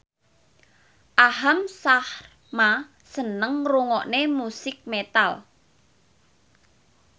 Aham Sharma seneng ngrungokne musik metal